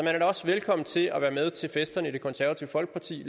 er da også velkommen til at være med til festerne i det konservative folkeparti